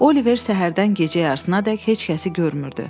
Oliver səhərdən gecə yarısınadək heç kəsi görmürdü.